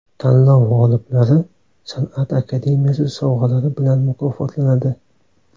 Tanlov g‘oliblari San’at akademiyasi sovg‘alari bilan mukofotlanadi.